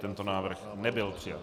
Tento návrh nebyl přijat.